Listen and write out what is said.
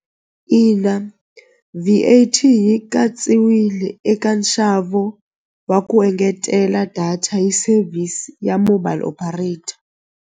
Ina V_A_T yi katsiwile eka nxavo wa ku engetela data hi service ya mobile operator.